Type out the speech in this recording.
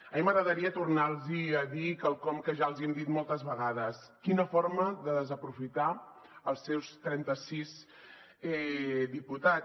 a mi m’agradaria tornar los a dir quelcom que ja els hem dit moltes vegades quina forma de desaprofitar els seus trenta sis diputats